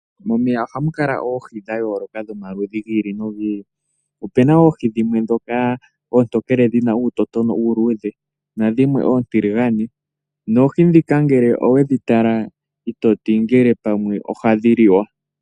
Momeya ohamu kala oohi dha yooloka dhomaludhi gi ili nogi ili. Opena oohi dhimwe ndhoka oontokele dhina uutotona uuluidhe na dhimwe oontiligane, nangele owedhi tala i toti pamwe ohadhi liwa.